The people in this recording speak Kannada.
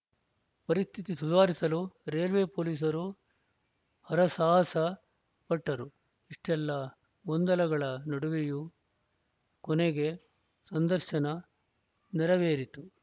ಪರಿಸ್ಥಿತಿ ಸುಧಾರಿಸಲು ರೈಲ್ವೆ ಪೊಲೀಸರು ಹರಸಾಹಸ ಪಟ್ಟರು ಇಷ್ಟೆಲ್ಲಾ ಗೊಂದಲಗಳ ನಡುವೆಯೂ ಕೊನೆಗೆ ಸಂದರ್ಶನ ನೆರವೇರಿತು